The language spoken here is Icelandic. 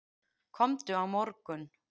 Komdu á morgun.